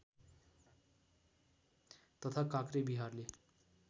तथा काक्रे विहारले